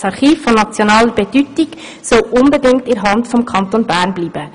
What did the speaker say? Das Archiv von nationaler Bedeutung soll unbedingt in der Hand des Kantons Bern bleiben.